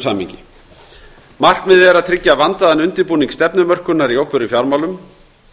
samhengi markmiðið er að tryggja vandaðan undirbúning stefnumörkunar í opinberum fjármálum